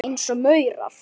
Eins og maurar.